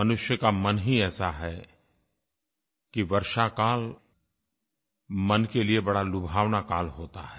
मनुष्य का मन ही ऐसा है कि वर्षाकाल मन के लिये बड़ा लुभावना काल होता है